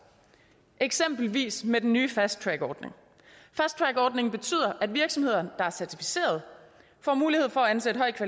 eksempelvis med den nye fasttrackordning fasttrackordningen betyder at virksomheder der er certificeret får mulighed for at ansætte højt